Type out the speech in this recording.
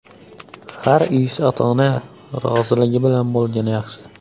Har ish ota-ona roziligi bilan bo‘lgani yaxshi.